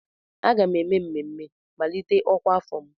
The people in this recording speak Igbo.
Aga m eme mmemme mmalite ọkwa afọ m.